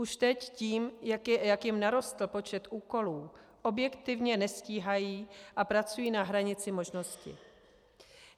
Už teď tím, jak jim narostl počet úkolů, objektivně nestíhají a pracují na hranici možností.